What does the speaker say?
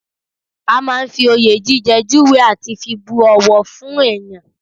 A máa ń fi oyè jíjẹ júwe àti fi bu ọ̀wọ̀ fún èèyàn